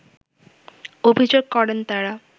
অভিযোগ করেন তারা